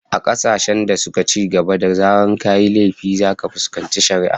A kasashen da suka cigaba, da zarar kayi laifi zaka fuskanci shari'a